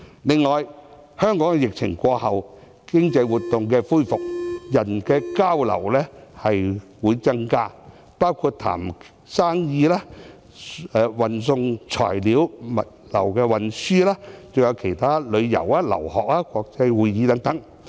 此外，香港在疫情過後，經濟活動恢復，人的交流會增加，包括洽談生意、運送材料、物流的運輸、旅遊、留學、國際會議等。